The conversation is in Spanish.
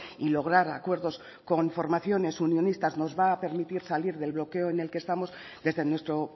y lograr acuerdos con formaciones unionistas nos va a permitir salir del bloqueo en el que estamos desde nuestro